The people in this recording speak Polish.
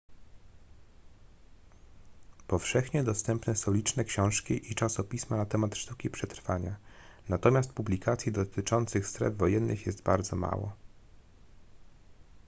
powszechnie dostępne są liczne książki i czasopisma na temat sztuki przetrwania natomiast publikacji dotyczących stref wojennych jest bardzo mało